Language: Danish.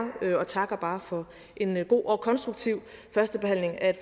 og takker bare for en god og konstruktiv førstebehandling af